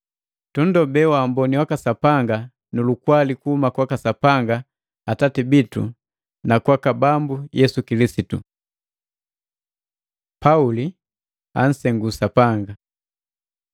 Tunndobee waamboni waka Sapanga nu lukwali kuhuma kwaka Sapanga Atati bitu na kwaka Bambu Yesu Kilisitu. Paulo ansengu Sapanga